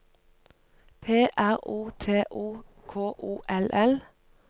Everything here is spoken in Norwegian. P R O T O K O L L